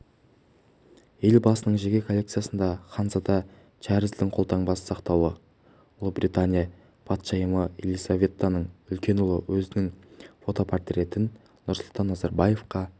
елбасының жеке коллекциясында ханзада чарльздің қолтаңбасы сақтаулы ұлыбритания патшайымы елизаветаның үлкен ұлы өзінің фотопортретін нұрсұлтан назарбаевқа